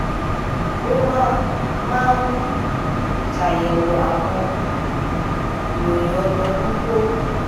ó máa máa ń ṣàyèwò àwọn um ìròyìn ọdọọdún kó